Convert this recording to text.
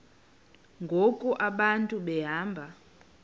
ngoku abantu behamba